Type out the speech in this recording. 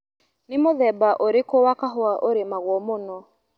Nĩ mũthemba ũrĩkũ wa kahũa ũrĩmagwo mũno.